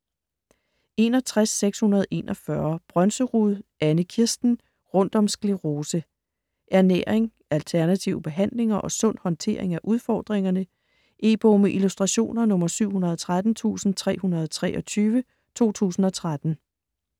61.641 Brønserud, Anne-Kirsten: Rundt om sklerose Ernæring, alternative behandlinger og sund håndtering af udfordringerne. E-bog med illustrationer 713323 2013.